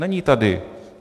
Není tady.